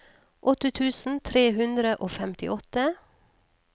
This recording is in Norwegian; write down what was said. åtte tusen tre hundre og femtiåtte